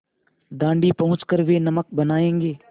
दाँडी पहुँच कर वे नमक बनायेंगे